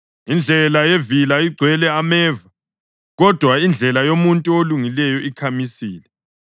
Indlela yevila igcwele ameva, kodwa indlela yomuntu olungileyo ikhamisile.